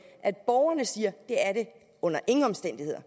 at borgerne siger at det under ingen omstændigheder